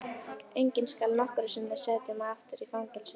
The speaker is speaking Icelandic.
Enginn skal nokkru sinni setja mig aftur í fangelsi.